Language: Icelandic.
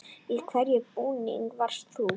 Í hvernig búningi varst þú?